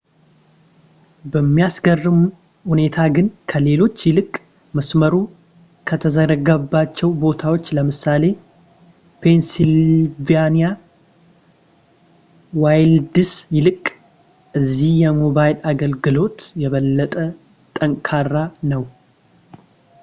በሚያስገርም ሁኔታ ግን ከሌሎች ይልቅ መሥመሩ ከተዘረጋባቸው ቦታዎች ለምሳሌ ፔንስይልቫኒያ ዋይልድስ ይልቅ እዚህ የሞባይል አገልግሎት የበለጠ ጠንካራ ነው